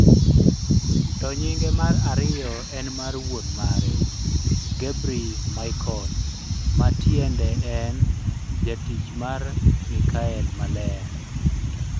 To nyinge mar ariyo en mar wuon mare, Gebremichael, ma tiende en Jatich mar Mikael Maler.